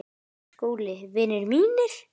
SKÚLI: Vinir mínir!